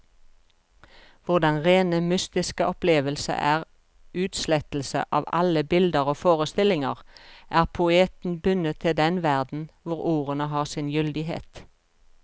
Hvor den rene mystiske opplevelse er utslettelse av alle bilder og forestillinger, er poeten bundet til den verden hvor ordene har sin gyldighet.